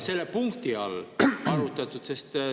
Selle punkti all ei ole arutatud!